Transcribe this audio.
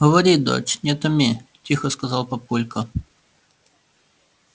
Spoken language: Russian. говори дочь не томи тихо сказал папулька